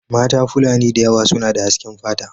Mata fulani da yawa suna da hasken fata.